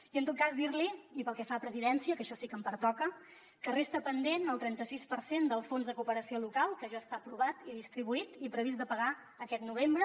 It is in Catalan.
i en tot cas dir li i pel que fa a presidència que això sí que em pertoca que resta pendent el trenta sis per cent del fons de cooperació local que ja està aprovat i distribuït i previst de pagar aquest novembre